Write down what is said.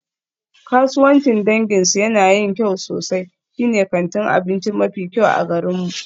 Kasuwancin danginsu yana yin kyau sosai, shine kantin abinci mafi kyau a garinmu.